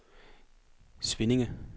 Svinninge